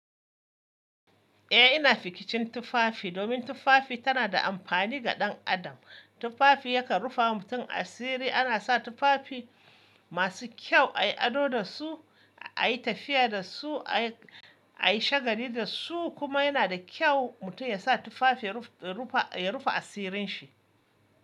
Eh ina fikicin tufafi domin tufafi tana da amfani ga ɗan adam. Tufafi yakan rufe mutum asiri. Ana sa tufafi masu kyau ayi ado dasu, ayi tafiya dasu, ayi shagali dasu kuma yana da kyau mutum yasa tufafi ya rufe asirin shi.